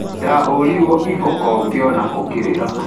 Ndahũrirwo iboko ngĩona ũkĩrira.